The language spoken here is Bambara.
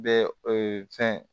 Bɛ ee fɛn